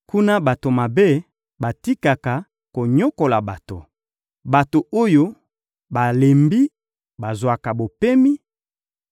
Kuna, bato mabe batikaka konyokola bato, bato oyo balembi bazwaka bopemi,